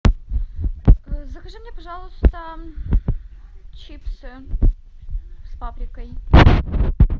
закажи мне пожалуйста чипсы с паприкой